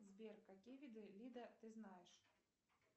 сбер какие виды вида ты знаешь